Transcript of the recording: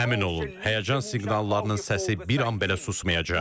Əmin olun, həyəcan siqnallarının səsi bir an belə susmayacaq.